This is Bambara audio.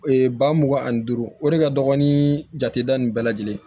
ba mugan ani duuru o de ka dɔgɔ ni jate da nin bɛɛ lajɛlen